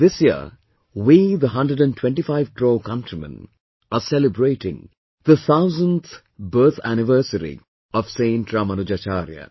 This year, we the hundred & twenty five crore countrymen are celebrating the thousandth birth anniversary of Saint Ramanujacharya